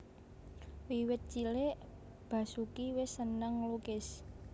Wiwit cilik Basoeki wis seneng nglukis